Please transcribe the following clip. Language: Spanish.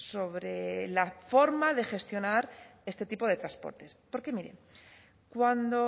sobre la forma de gestionar este tipo de transportes porque mire cuando